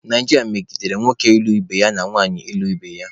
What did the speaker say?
Naijiria medigere nwoke ịlụ ibe ya na nwanyị ịlụ ibe ya.